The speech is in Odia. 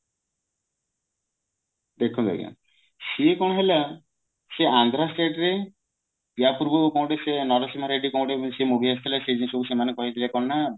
ଦେଖନ୍ତୁ ଆଜ୍ଞା ସିଏ କଣ ହେଲା ସେ ଆନ୍ଧ୍ରା state ରେ ୟା ପୂର୍ବରୁ କଣ ଗୋଟେ ସିଏ ନରସିଂହା ରେଡ୍ଡୀ ଏମତି କଣ ଗୋଟେ ସେ movie ଆସିଥିଲା ସେ ବି ସବୁ ସେମାନେ କହିଥିଲେ କଣ ନା